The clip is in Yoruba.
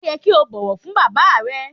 O yẹ ki o bọwọ fun baba rẹ.